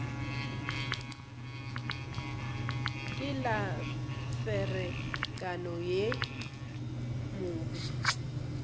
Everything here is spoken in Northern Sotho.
ke la ferekana yo mobe